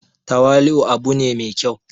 tawali'u u abu ne mai kyau